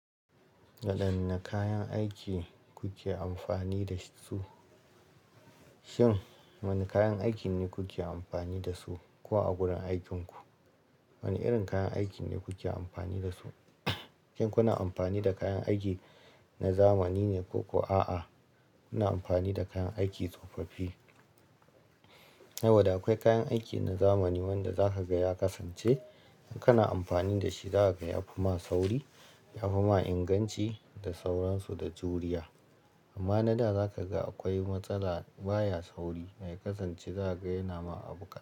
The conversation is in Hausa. Wadanne kayan aiki kuke amfani da su? Shin wane kayan aiki ne kuke amfani da su kuwa a gurin aikinku? Wane irin kayan aiki ne kuke amfani da su? Shin kuna amfani da kayan aiki na zamani ne ko kuwa a'a, kuna amfani da kayan aiki tsofaffi? Saboda akwai kayan aiki na zamani wanda za ka ga ya kasance in kana amfani da shi za ka ga ya fi ma sauri, ya fi ma inganci da sauransu da juriya. Amma na da za ka ga akwai matsala baya sauri mai kasance za ka ga yana ma abu ƙasa.